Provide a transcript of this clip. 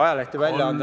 Kolm minutit lisaaega.